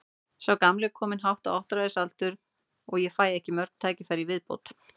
Sá gamli er kominn hátt á áttræðisaldur og ég fæ ekki mörg tækifæri í viðbót.